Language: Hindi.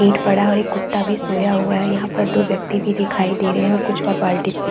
इट पड़ा है और एक कुत्ता भी सोया हुआ है यहाँ पर दो व्यक्ति भी दिखाई दे रहै है और कुछ और बालटीस भी --